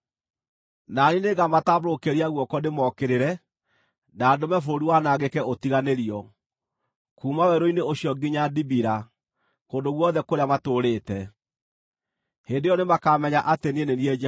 Na niĩ nĩngamatambũrũkĩria guoko ndĩmookĩrĩre, na ndũme bũrũri wanangĩke ũtiganĩrio, kuuma werũ-inĩ ũcio nginya Dibila, kũndũ guothe kũrĩa matũũrĩte. Hĩndĩ ĩyo nĩmakamenya atĩ niĩ nĩ niĩ Jehova.’ ”